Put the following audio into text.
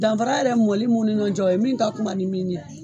Danfara yɛrɛ mɔli minnu ni ɲɔgɔn cɛ o ye min ka kunba ni min ye.